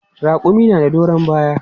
Raƙumi na da doron baya.